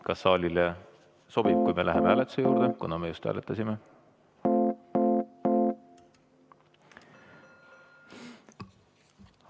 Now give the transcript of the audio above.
Kas saalile sobib, kui me läheme hääletuse juurde, kuna me just hääletasime?